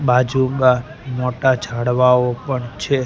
બાજુગા મોટા ઝાડવાઓ પણ છે.